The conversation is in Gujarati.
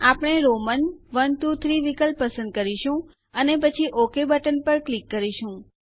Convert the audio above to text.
આપણે રોમન iiiઆઇઆઇઆઇ વિકલ્પ પસંદ કરીશું અને પછી ઓક બટન પર ક્લિક કરીશું